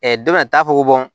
dɔ bɛ na taa fɔ ko